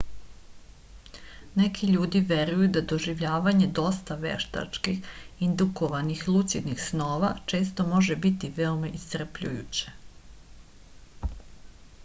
neki ljudi veruju da doživljavanje dosta veštački indukovanih lucidnih snova često može biti veoma iscrpljujuće